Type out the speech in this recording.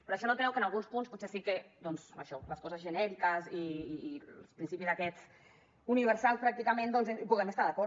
però això no treu que en alguns punts potser sí que doncs això les coses genèriques i principis d’aquests universal pràcticament hi puguem estar d’acord